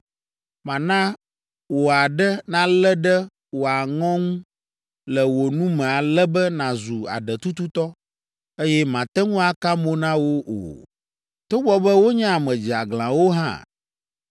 Mana wò aɖe nalé ɖe wò aŋɔ ŋu le wò nu me ale be nàzu aɖetututɔ, eye màte ŋu aka mo na wo o, togbɔ be wonye ame dzeaglãwo hã.